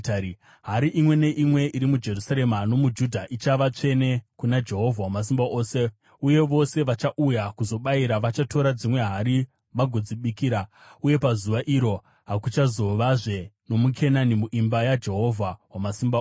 Hari imwe neimwe iri muJerusarema nomuJudha ichava tsvene kuna Jehovha Wamasimba Ose, uye vose vachauya kuzobayira vachatora dzimwe hari vagodzibikira. Uye pazuva iro hakuchazovazve nomuKenani muimba yaJehovha Wamasimba Ose.